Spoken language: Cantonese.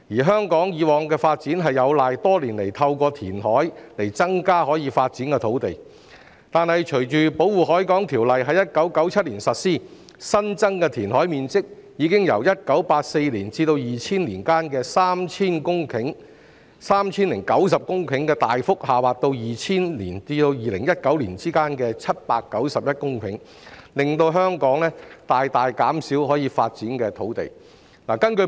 香港以往的發展有賴多年來透過填海增加可發展的土地，但隨着《保護海港條例》在1997年實施，新增的填海面積已經由1984年至2000年間的 3,090 公頃，大幅下滑到2000年至2019年的791公頃，令香港可發展的土地大大減少。